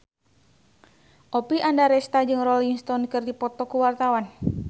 Oppie Andaresta jeung Rolling Stone keur dipoto ku wartawan